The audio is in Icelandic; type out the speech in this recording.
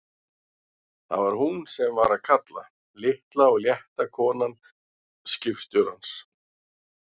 Það var hún sem var að kalla, litla og létta konan skipstjórans!